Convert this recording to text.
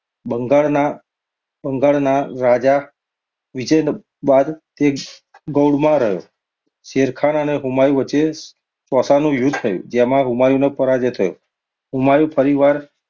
બંગાળના~બંગાળના રાજા વિજય બાદ તે ગૌડમાં રહ્યો. શેરખાન અને હુમાયુ વચ્ચે ચૌસાનુ યુદ્ધ થયું, જેમાં હુમાયુનો પરાજય થયો. હુમાયુ ફરી વાર